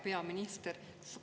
Hea peaminister!